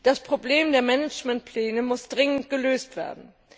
Das Problem der Managementpläne muss dringend gelöst werden!